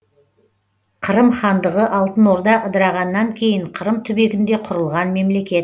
қырым хандығы алтын орда ыдырағаннан кейін қырым түбегінде құрылған мемлекет